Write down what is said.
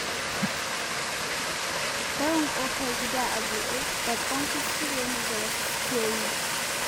Barin ƙofar gida a buɗe babban kuskure ne da wasu suke yi.